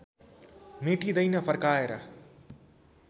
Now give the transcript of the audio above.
मेटिँदैन फर्काएर